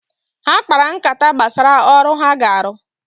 Ha kpara nkata gbasara ọrụ ha ga-arụ